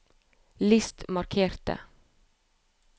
list markerte